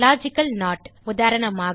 logical not உதாரணமாக